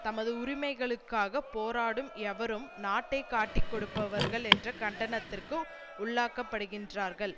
தமது உரிமைகளுக்காக போராடும் எவரும் நாட்டை காட்டிக்கொடுப்பவர்கள் என்ற கண்டனத்திற்கு உள்ளாக்கப்படுகின்றார்கள்